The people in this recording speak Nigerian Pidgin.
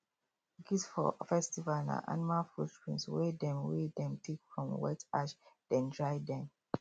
gifts for festival na animal footprint wey dem wey dem take from wet ash then dry them